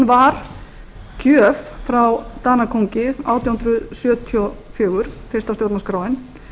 var gjöf frá danakóngi átján hundruð sjötíu og fjögur fyrsta stjórnarskráin